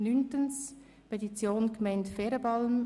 Neuntens: Petition Gemeinde Ferenbalm: